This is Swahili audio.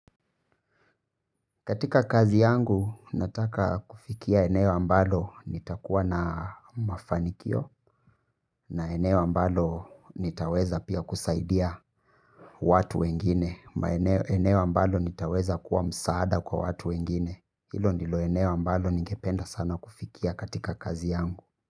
Katika kazi yangu nataka kufikia eneo ambalo nitakuwa na mafanikio na eneo ambalo nitaweza pia kusaidia watu wengine eneo ambalo nitaweza kuwa msaada kwa watu wengine. Hilo ndilo eneo ambalo ningependa sana kufikia katika kazi yangu.